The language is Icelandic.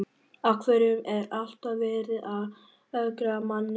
Af hverju er alltaf verið að ögra manni svona?